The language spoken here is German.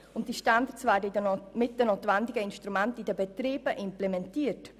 Die Standards werden mit den notwendigen Instrumenten in den Betrieben implementiert.